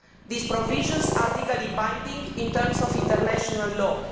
These provisions are legally binding in terms of international law.